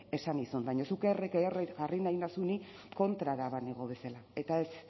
esan nizun baina zuk erre que erre jarri nahi nauzu ni kontrara banengo bezala eta